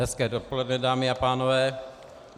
Hezké dopoledne, dámy a pánové.